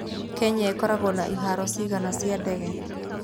Kenya ĩkoragwo na ihaaro cigana cia ndege?